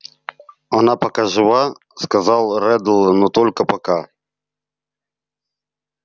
она пока жива сказал реддл но только пока